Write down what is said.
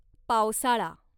पावसाळा